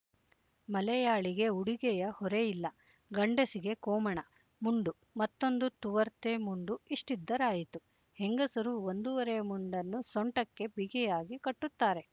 ಮಲೆಯಾಳಿಗೆ ಉಡುಗೆಯ ಹೊರೆಯಿಲ್ಲ ಗಂಡಸಿಗೆ ಕೋಮಣ ಮುಂಡು ಮತ್ತೊಂದು ತುವರ್ತೆ ಮುಂಡು ಇಷ್ಟಿದ್ದರಾಯಿತು ಹೆಂಗಸರು ಒಂದೂವರೆ ಮುಂಡನ್ನು ಸೊಂಟಕ್ಕೆ ಬಿಗಿಯಾಗಿ ಕಟ್ಟುತ್ತಾರೆ